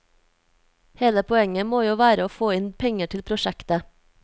Hele poenget må jo være å få inn penger til prosjektet.